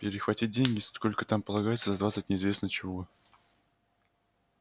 перехватить деньги сколько там полагается за двадцать неизвестно чего